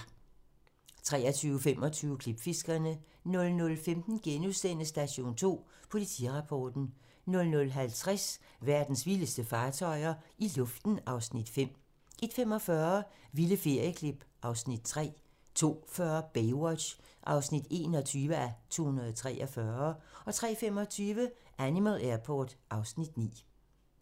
23:25: Klipfiskerne 00:15: Station 2: Politirapporten * 00:50: Verdens vildeste fartøjer - i luften (Afs. 5) 01:45: Vilde ferieklip (Afs. 3) 02:40: Baywatch (21:243) 03:25: Animal Airport (Afs. 9)